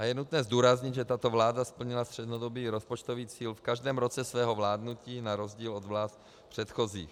A je nutné zdůraznit, že tato vláda splnila střednědobý rozpočtový cíl v každém roce svého vládnutí, na rozdíl od vlád předchozích.